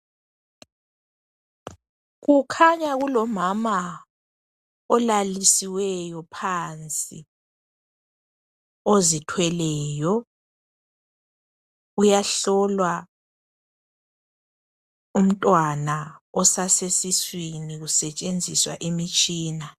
Kukhanya kulomama olalisiweyo phansi, uyahlolwa umntwana osasesiswini kusetshenziswa imitshina.